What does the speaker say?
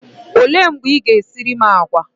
Olee mgbe Ị ga-esiri m àgwà?